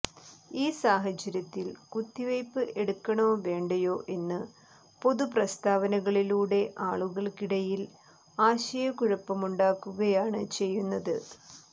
ഈ സാഹചര്യത്തിൽ കുത്തിവയ്പ്പ് എടുക്കണോ വേണ്ടയോ എന്ന് പൊതു പ്രസ്താവനകളിലൂടെ ആളുകൾക്കിടയിൽ ആശയക്കുഴപ്പമുണ്ടാക്കുകയാണ് ചെയ്യുന്നത്